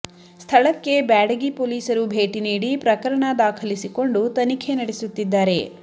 ಸ್ಥಳಕ್ಕೆ ಬ್ಯಾಡಗಿ ಪೊಲೀಸರು ಭೇಟಿ ನೀಡಿ ಪ್ರಕರಣ ದಾಖಲಿಸಿಕೊಂಡು ತನಿಖೆ ನಡೆಸುತ್ತಿದ್ದಾರೆ